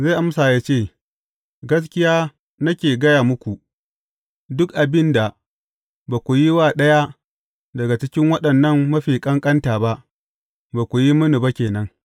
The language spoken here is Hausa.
Zai amsa, yă ce, Gaskiya nake gaya muku, duk abin da ba ku yi wa ɗaya daga cikin waɗannan mafi ƙanƙanta ba, ba ku yi mini ba ke nan.’